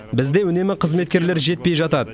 бізде үнемі қызметкерлер жетпей жатады